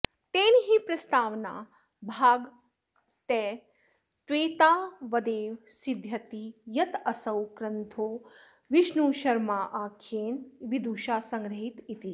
तेन हि प्रस्तावनाभागतस्त्वेतावदेव सिध्यति यदसौ ग्रन्थो विष्णुशर्माख्येन विदुषा संग्रहीत इति